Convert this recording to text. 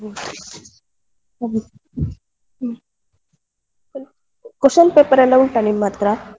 ಹ್ಮ್ ಹ್ಮ್ ಹ್ಮ್, question paper ಎಲ್ಲ ಉಂಟಾ ನಿಮ್ ಅತ್ರ.